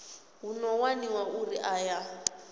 hu ḓo waniwa uri aya